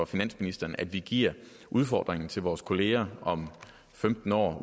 finansministeren at vi giver udfordringen videre til vores kolleger om femten år